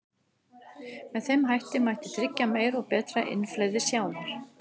Með þeim hætti mætti tryggja meira og betra innflæði sjávar.